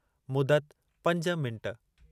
मुदत:- पंज मिंट